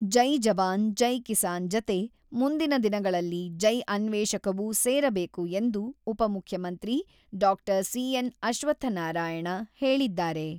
ಜೈ ಜವಾನ್, ಜೈ ಕಿಸಾನ್ ಜತೆ ಮುಂದಿನ ದಿನಗಳಲ್ಲಿ 'ಜೈ ಅನ್ವೇಷಕ'ವೂ ಸೇರಬೇಕು ಎಂದು ಉಪಮುಖ್ಯಮಂತ್ರಿ ಡಾಕ್ಟರ್ ಸಿ.ಎನ್.ಅಶ್ವತ್ಥನಾರಾಯಣ ಹೇಳಿದ್ದಾರೆ.